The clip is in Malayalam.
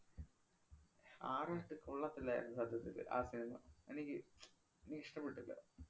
ആറാട്ട്‌ കൊള്ളത്തില്ലായിരുന്നു സത്യത്തില് ആ cinema. എനിക്ക് എനിക്കിഷ്ടപ്പെട്ടില്ല.